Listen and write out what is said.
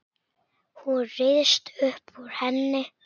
Hún ryðst upp úr henni.